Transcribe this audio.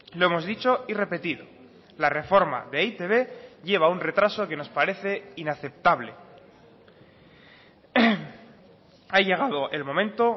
lo hemos dicho y repetido la reforma de e i te be lleva un retraso que nos parece inaceptable ha llegado el momento